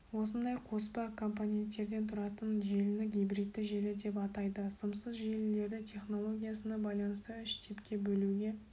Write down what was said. осындай қоспа қомпоненттерден тұратын желіні гибридті желі деп атайды сымсыз желілерді технологиясына байланысты үш типке бөлуге